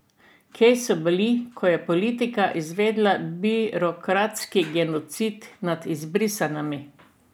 Kje so bili, ko je politika izvedla birokratski genocid nad izbrisanimi?